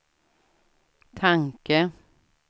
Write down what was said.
tanke